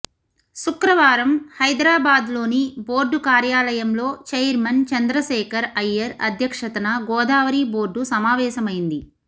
శుక్రవారం హైదరాబాద్లోని బోర్డు కార్యాలయంలో చైర్మన్ చంద్రశేఖర్ అయ్యర్ అధ్యక్షతన గోదావరి బోర్డు సమావేశమైంది